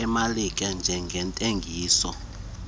emalike zentengiso amiselwe